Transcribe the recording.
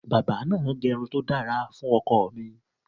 Bábà náà gẹrun to dára fun ọkọ mi.